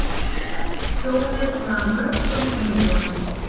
Tjónið nam mörgum milljónum.